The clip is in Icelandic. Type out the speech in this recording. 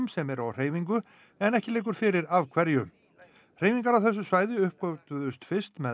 sem eru á hreyfingu en ekki liggur fyrir af hverju hreyfingar á þessu svæði uppgötvuðust fyrst með